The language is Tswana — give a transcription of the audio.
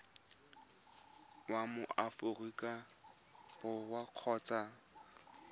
wa mo aforika borwa kgotsa